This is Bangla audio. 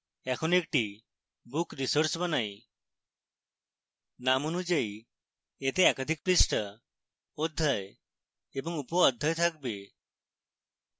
এখন একটি book resource বানাই name অনুযায়ী এতে একাধিক পৃষ্ঠা অধ্যায় এবং উপঅধ্যায় থাকবে